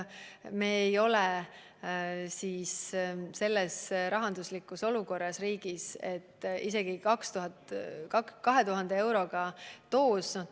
Meie riik ei ole praegu rahanduslikult olukorras, et maksta 2000 eurot doosi eest.